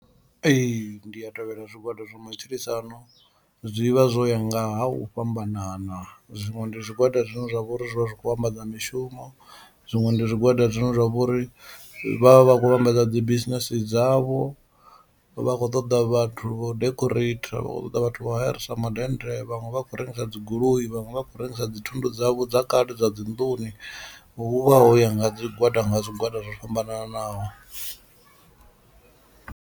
Ee, ndi a tevhela zwigwada zwa matshilisano zwi vha zwo ya nga ha u fhambanana zwiṅwe ndi zwigwada zwine zwa vha uri zwi vha zwi khou vhambadza mishumo, zwiṅwe ndi zwigwada zwine zwa vha uri vhavha vha khou vhambadza dzi business dzavho, vhakho ṱoḓa vhathu vho decorator vha khou ṱoḓa vhathu vho hayarisa madennde vhaṅwe vha khou rengisa dzi goloi vhaṅwe vha khou rengisa dzi thundu dzavho dza kale dza dzi nḓuni, hu vha ho ya nga zwigwada nga zwigwada zwo fhambananaho.